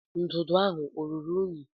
Ndụdụ ahụ ọ ruru unyi?